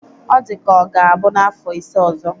Ọ dịka ọ ga-abụ n'afọ ise ọzọ.